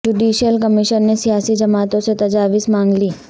judicial commission نے سیاسی جماعتوں سے تجاویز مانگ لیں